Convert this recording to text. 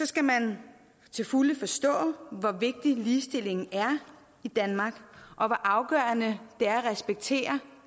skal man til fulde forstå hvor vigtig ligestilling er i danmark og hvor afgørende det er at respektere